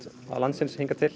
landsins hingað til